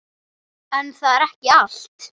En það er ekki allt.